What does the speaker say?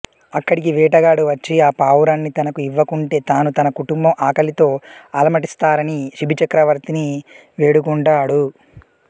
అక్కడికి వేటగాడు వచ్చి ఆపావురాన్ని తనకు ఇవ్వకుంటే తాను తన కుటుంబం ఆకలితో అలమటిస్తారని శిభిచక్రవర్తిని వేడుకుంటాడు